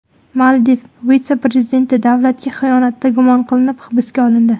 Maldiv vitse-prezidenti davlatga xiyonatda gumon qilinib, hibsga olindi.